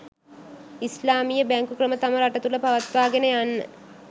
ඉස්ලාමීය බැංකු ක්‍රම තම රට තුළ පවත්වාගෙන යන්න